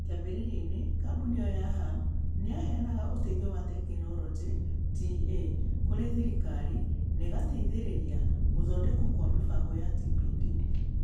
Kĩambĩrĩriainĩ, kambuni ĩyo ya hub nĩ yaheanaga ũteithio wa tekinoronjĩ (TA) kũrĩ thirikari na ĩgateithĩrĩria gũthondekwo kwa mĩbango ya TPD.